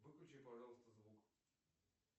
выключи пожалуйста звук